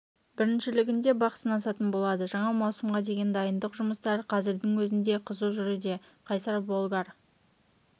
біріншілігінде бақ сынасатын болады жаңа маусымға деген дайындық жұмыстары қазірдің өзінде қызу жүруде қайсар болгар